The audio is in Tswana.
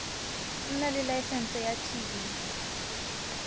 nna le laesense ya tv